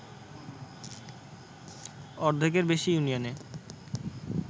অর্ধেকের বেশি ইউনিয়নে